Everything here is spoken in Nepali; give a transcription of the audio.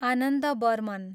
आनन्द बर्मन